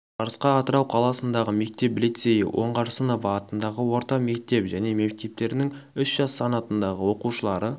жарысқа атырау қаласындағы мектеп лицейі оңғарсынова атындағы орта мектеп және мектептерінің үш жас санатындағы оқушылары